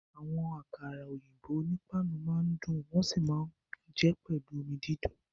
Àwọn àkàrà òyìnbó onípáànù máa ń dùn wọ́n sì máa ń jẹ ẹ́ pẹ̀lú omi dídùn